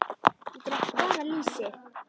Ég drekk bara lýsi!